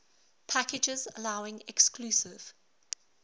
packages allowing exclusive